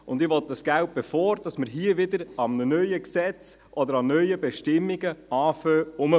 Und ich will dieses Geld, bevor wir wieder an einem neuen Gesetz oder an neuen Bestimmungen herumbasteln.